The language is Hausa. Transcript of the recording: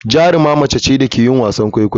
Jaruma mace ce da ke yin wasan kwaikwayo.